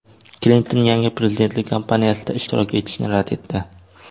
Klinton yangi prezidentlik kampaniyasida ishtirok etishni rad etdi.